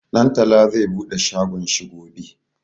Ɗantala zai bude shagon shi gobe.